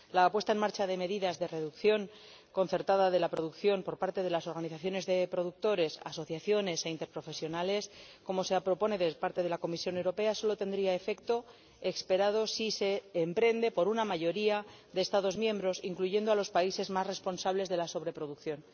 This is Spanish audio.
La puesta en marcha de medidas de reducción concertada de la producción por parte de organizaciones de productores, asociaciones e interprofesionales, como propone la Comisión Europea, solo tendría el efecto esperado si la emprende la mayoría de los Estados miembros, incluyendo a los países más responsables de la sobreproducción.